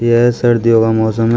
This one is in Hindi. यह सर्दियों का मौसम है।